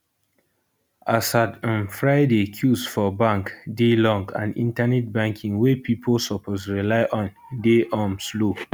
as at um friday queues for bank dey long and internet banking wey pipo suppose rely on dey um slow